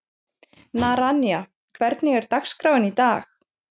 Naranja, hvernig er dagskráin í dag?